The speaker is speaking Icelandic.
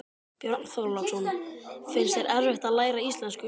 Björn Þorláksson: Finnst þér erfitt að læra íslensku?